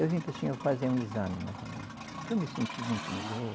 Eu vim para o senhor fazer um exame novamente, porque eu me senti muito melhor.